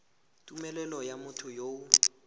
tumelelo ya motho yo o